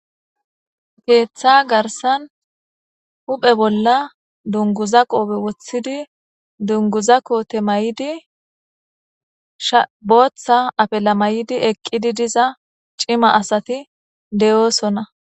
keeththa garsan huphe bolla dunguza qoobe woththidi dunguza koote may7di shabooththa apela may7idi eqqidi diza cima asati de7oosonna